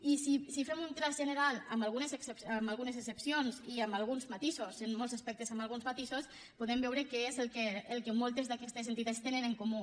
i si fem un traç general amb algunes excepcions i amb alguns matisos en molts aspectes amb alguns matisos podem veure què és el que moltes d’aquestes entitats tenen en comú